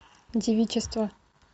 девичество